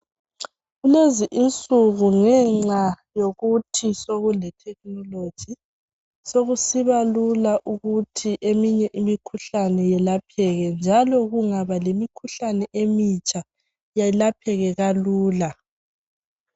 Kulezi insuku, ngenxa yokuthi sekuletechnology. Sekusiba lula ukuthi eminye imikhuhlane eminengi yelapheke, njalo kungaba lemikhuhlane emitsha. Yelapheke lula.